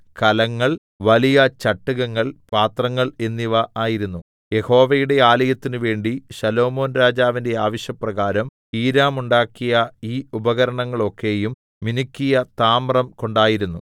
കലങ്ങൾ വലിയ ചട്ടുകങ്ങൾ പാത്രങ്ങൾ എന്നിവ ആയിരുന്നു യഹോവയുടെ ആലയത്തിന് വേണ്ടി ശലോമോൻരാജാവിന്റെ ആവശ്യപ്രകാരം ഹീരാം ഉണ്ടാക്കിയ ഈ ഉപകരണങ്ങളൊക്കെയും മിനുക്കിയ താമ്രം കൊണ്ടായിരുന്നു